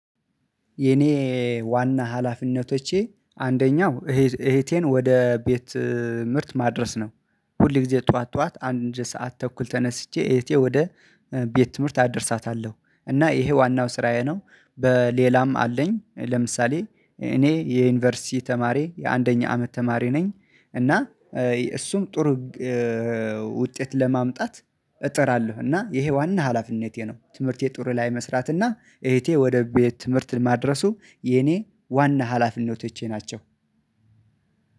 የኔ ዋና ሀላፊነቶቼ አንደኛው እህቴን ወደ ቤት ምርት ማድረስ ነው። ሁል ጊዜ ጠዋት ጠዋት አንድ ሰዓት ተኩል ተነስቼ እህቴ ወደ ቤት ትምህርት አደርሳታለሁ እና ይሄ ዋናው ስራዬ ነው። በሌላም አለኝ ለምሳሌ እኔ የዩኒቨርሲቲ ተማሪ የአንደኛ አመት ተማሪ ነኝ እና እሱም ጥሩ ውጤት ለማምጣት እጠራለሁ እና ይሄ ዋና ሀላፊነቴ ነው። ትምህርቴ ጥሩ ላይ መስራት እና እህቴ ወደ ቤት ትምህርት ማድረሱ የኔ ዋና ሀላፊነቶቼ ናቸው።